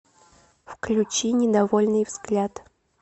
включи недовольный взгляд